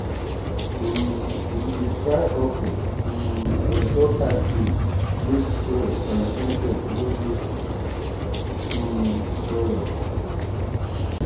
um we dey dry okra um on top high place make soil and insects no go um spoil am.